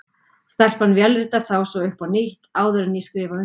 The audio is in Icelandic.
Stelpan vélritar þá svo upp á nýtt, áður en ég skrifa undir.